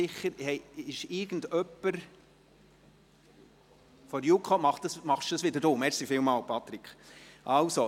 Wir kommen zu Traktandum 14 und begrüssen Thomas Müller, den Vorsitzenden der Justizleitung.